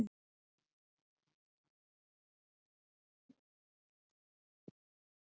Hvernig sérðu deildina fyrir þér í sumar?